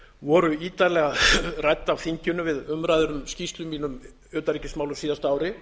voru ítarlega rædd af þinginu við umræður um skýrslu mína um utanríkismál á síðasta ári